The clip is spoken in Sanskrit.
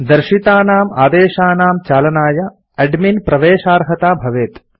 दर्शितानाम् आदेशानां चालनाय एडमिन् प्रवेशार्हता भवेत्